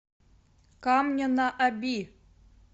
камня на оби